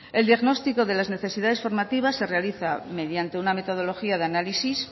el diagnóstico de las necesidades formativas se realiza mediante una metodología de análisis